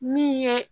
Min ye